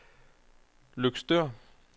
Løgstør